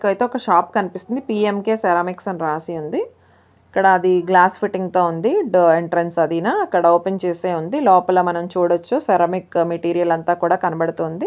ఇక్కడైతే ఒక షాప్ కనిపిస్తుంది పిఎంకె సెరామిక్స్ అని రాసి వుంది ఇక్కడ అది గ్లాస్ ఫిట్టింగ్ తో వుంది ఎంట్రన్స్ అదినా అక్కడ ఓపెన్ చేసి వుంది లోపల మనం చూడొచ్చు సెరామిక్స్ మెటీరియల్ అంతా కూడ కనపడుతుంది.